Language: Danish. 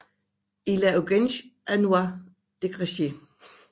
Il y a urgence à nous dégager